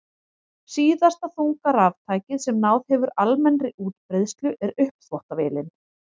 Síðasta þunga raftækið sem náð hefur almennri útbreiðslu er uppþvottavélin.